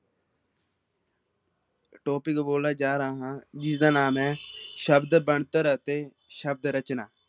Topic ਬੋਲਣ ਜਾ ਰਿਹਾ ਹਾਂ ਜਿਸਦਾ ਨਾਮ ਹੈ ਸ਼ਬਦ ਬਣਤਰ ਅਤੇ ਸ਼ਬਦ ਰਚਨਾ।